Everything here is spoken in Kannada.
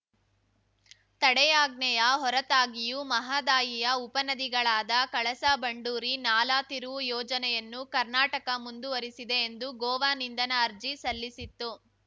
ತಡೆಯಾಜ್ಞೆಯ ಹೊರತಾಗಿಯೂ ಮಹದಾಯಿಯ ಉಪನದಿಗಳಾದ ಕಳಸಾಬಂಡೂರಿ ನಾಲಾ ತಿರುವು ಯೋಜನೆಯನ್ನು ಕರ್ನಾಟಕ ಮುಂದುವರಿಸಿದೆ ಎಂದು ಗೋವಾ ನಿಂದನಾ ಅರ್ಜಿ ಸಲ್ಲಿಸಿತ್ತು